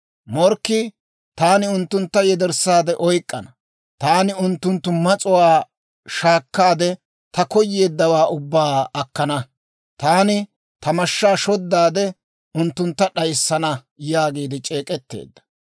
«Morkkii, ‹Taani unttuntta yederssaade oyk'k'ana. Taani unttunttu mas'uwaa shaakkaade, ta koyeeddawaa ubbaa akkana. Taani ta mashshaa shoddaade, unttuntta d'ayissana› yaagiide c'eek'etteedda.